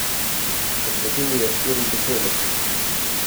Posvetil ji je štiri besede.